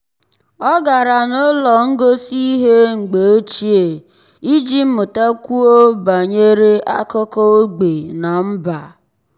ọ́ gárá n’ụ́lọ́ ngosi ihe mgbe ochie iji mụ́takwuo mụ́takwuo banyere ákụ́kọ́ ógbè na mba.